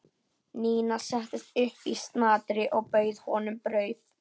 Nína settist upp í snatri og bauð honum brauð.